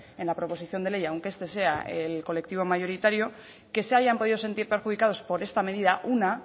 en la proposición de ley aunque este sea el colectivo mayoritario que se hayan podido sentir perjudicados por esta medida una